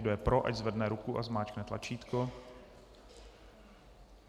Kdo je pro, ať zvedne ruku a zmáčkne tlačítko.